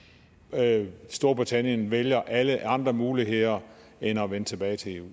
at storbritannien vælger alle andre muligheder end at vende tilbage til eu